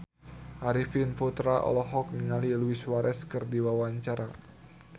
Arifin Putra olohok ningali Luis Suarez keur diwawancara